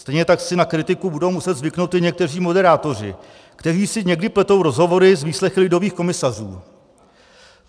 Stejně tak si na kritiku budou muset zvyknout i někteří moderátoři, kteří si někdy pletou rozhovory s výslechy lidových komisařů.